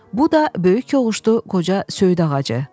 Bu da böyük yoluşdu qoca söyüd ağacı.